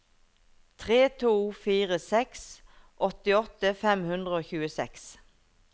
tre to fire seks åttiåtte fem hundre og tjueseks